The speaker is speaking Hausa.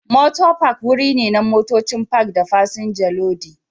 Mota Park wuri ne na motocin Park da fasinja lodi